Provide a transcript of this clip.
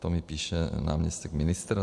To mi píše náměstek ministra.